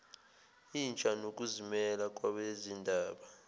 intsha nokuzimela kwabezindaba